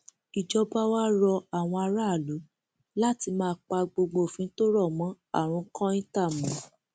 ìjọba wàá rọ àwọn aráàlú láti máa pa gbogbo òfin tó rọ mọ àrùn kọńtà mọ